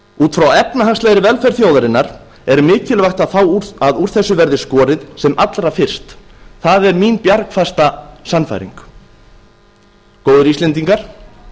út frá efnahagslegri velferð þjóðarinnar er mikilvægt að úr þessu verði skorið sem allra fyrst það er mín bjargfasta sannfæring góðir íslendingar